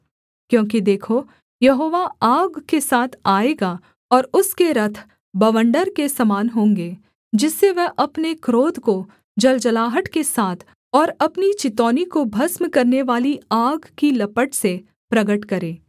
क्योंकि देखो यहोवा आग के साथ आएगा और उसके रथ बवण्डर के समान होंगे जिससे वह अपने क्रोध को जलजलाहट के साथ और अपनी चितौनी को भस्म करनेवाली आग की लपट से प्रगट करे